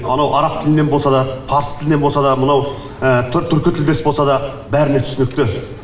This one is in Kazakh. анау араб тілінен болса да парсы тілінен болса да мынау түркі тілдес болса да бәріне түсінікті